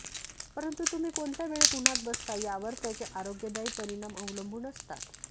परंतू तुम्ही कोणत्या वेळेत उन्हात बसता यावर त्याचे आरोग्यदायी परिणाम अवलंबून असतात